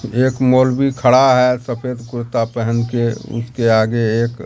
एक मौलवी खड़ा है सफेद कुर्ता पेहन के उसके आगे एक--